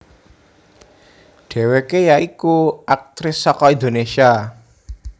Dhéwékè ya iku aktris saka Indonesia